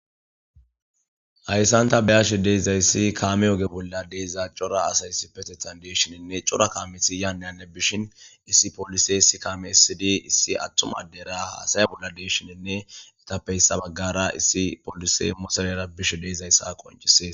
Haysan ta beyashe dizaysi kame oge.bolla de'iza cora asay issipretethan dishin cora kamezi yane hanne bishen issi polisey issi kame esidi issi atuma adera hayaya bolla de'ishin eta issi bagata issi pokisey motorera bishe dizaysa beses